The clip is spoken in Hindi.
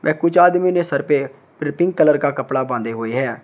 वह कुछ आदमी ने सर पे प्री पिंक कलर का कपड़ा बांधे हुए हैं।